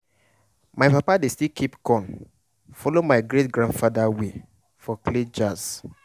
my papa dey still keep corn follow my great grandfather way for clay jars.